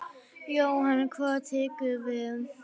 Jóhann: Hvað tekur við?